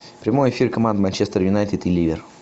прямой эфир команд манчестер юнайтед и ливер